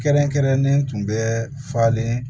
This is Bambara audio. Kɛrɛnkɛrɛnnen tun bɛ falen